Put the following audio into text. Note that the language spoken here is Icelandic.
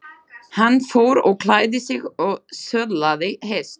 Hann fór og klæddi sig og söðlaði hest.